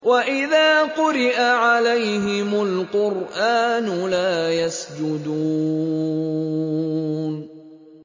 وَإِذَا قُرِئَ عَلَيْهِمُ الْقُرْآنُ لَا يَسْجُدُونَ ۩